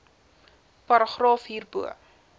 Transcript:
paragraaf hierbo